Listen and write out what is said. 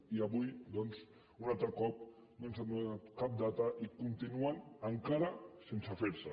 i avui doncs un altre cop no ens han donat cap data i continuen encara sense fer se